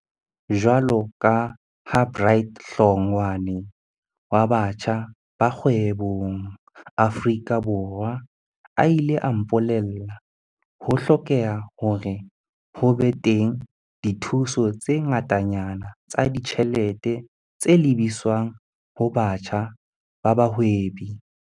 Jwaloka ha Bright Hlongwa ne wa Batjha ba Kgwebong Aforika Borwa a ile a mpole lla, ho hlokeha hore ho be teng dithuso tse ngatanyana tsa ditjhelete tse lebiswang ho batjha ba bahwebi.